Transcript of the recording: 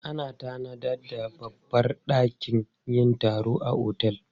Ana tanada babbar dakin yin taro a otel.